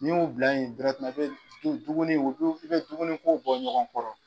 N'i y'u bila in i bɛ dumuni ko i bɛ dumuni ko bɔ ɲɔgɔn kɔrɔ.